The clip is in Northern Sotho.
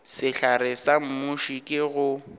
sehlare sa muši ke go